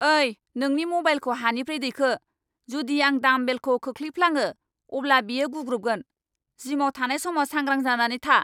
ओइ, नोंनि म'बाइलखौ हानिफ्राय दैखो, जुदि आं डामबेलखौ खोलैफ्लाङो अब्ला बेयो गुग्रुबगोन, जिमाव थानाय समाव सांग्रां जानानै था।